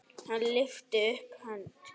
Hann lyfti upp hönd.